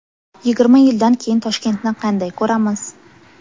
Yigirma yildan keyin Toshkentni qanday ko‘ramiz?